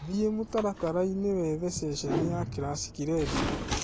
thie mũtaratara ini wethe sesheni ya classic redĩo